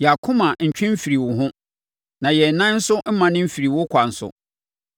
Yɛn akoma ntwe mfirii wo ho; na yɛn nan nso mmane mfirii wo kwan so.